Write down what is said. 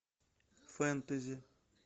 фэнтези